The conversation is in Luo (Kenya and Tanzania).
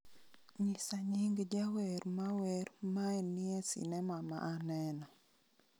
nyisa nying jawer ma wer mae ni e sinema ma aneno